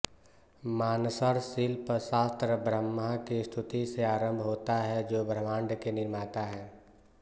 मानसर शिल्पशास्त्र ब्रह्मा की स्तुति से आरम्भ होता है जो ब्रह्माण्ड के निर्माता हैं